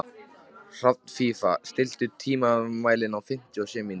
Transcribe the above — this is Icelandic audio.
Hrafnfífa, stilltu tímamælinn á fimmtíu og sjö mínútur.